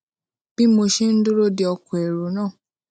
bí mo ṣe ń dúró de ọkò um èrò náà